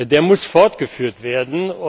Der muss fortgeführt werden.